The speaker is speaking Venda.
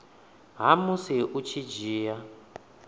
ha musi u tshi dzhia